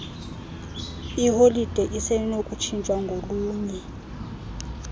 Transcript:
iholide isenokutshintshwa ngolunye